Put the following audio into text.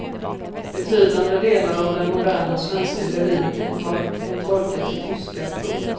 Betydande delar av den moderna svenska lyriken har hon tolkat till tyska. punkt